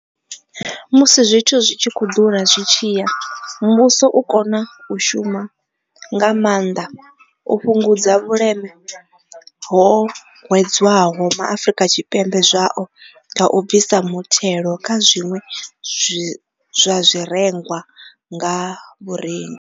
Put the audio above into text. Musi zwithu zwi tshi khou ḓura zwi tshi ya, muvhuso u kona u shuma nga maanḓa u fhungudza vhuleme ho hwedzwaho MaAfrika Tshipembe zwao nga u bvisa muthelo kha zwiṅwe zwa zwirengwa nga vhurengi.